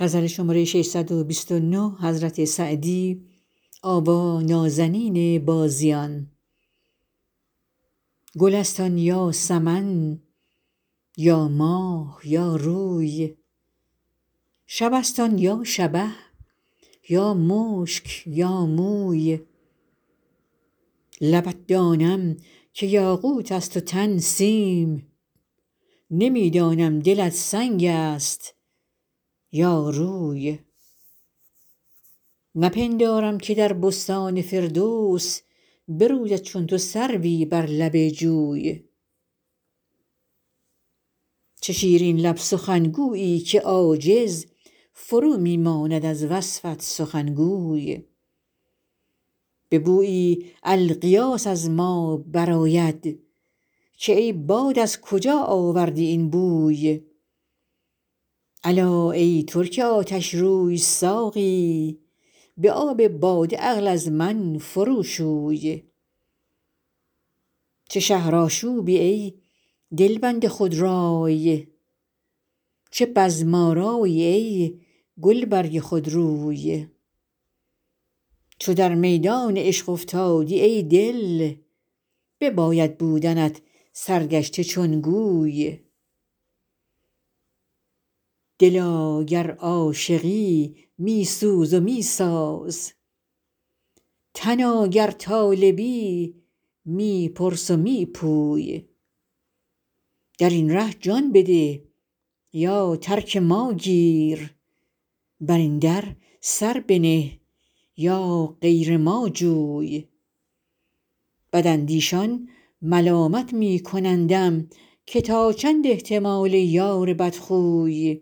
گل است آن یا سمن یا ماه یا روی شب است آن یا شبه یا مشک یا موی لبت دانم که یاقوت است و تن سیم نمی دانم دلت سنگ است یا روی نپندارم که در بستان فردوس بروید چون تو سروی بر لب جوی چه شیرین لب سخنگویی که عاجز فرو می ماند از وصفت سخنگوی به بویی الغیاث از ما برآید که ای باد از کجا آوردی این بوی الا ای ترک آتشروی ساقی به آب باده عقل از من فرو شوی چه شهرآشوبی ای دلبند خودرای چه بزم آرایی ای گلبرگ خودروی چو در میدان عشق افتادی ای دل بباید بودنت سرگشته چون گوی دلا گر عاشقی می سوز و می ساز تنا گر طالبی می پرس و می پوی در این ره جان بده یا ترک ما گیر بر این در سر بنه یا غیر ما جوی بداندیشان ملامت می کنندم که تا چند احتمال یار بدخوی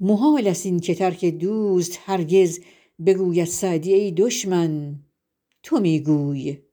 محال است این که ترک دوست هرگز بگوید سعدی ای دشمن تو می گوی